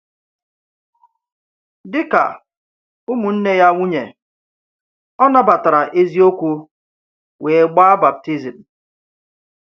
Dịka ụmụnne ya nwunye, o nabatara eziokwu wee gbaa baptizim.